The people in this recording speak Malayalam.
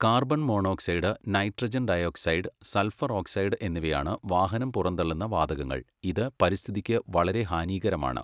Carbon monoxide nitrogen dioxide sulphur oxide എന്നിവയാണ് വാഹനം പുറന്തള്ളുന്ന വാതകങ്ങൾ. ഇത് പരിസ്ഥിതിക്കു വളരേ ഹാനീകരമാണ്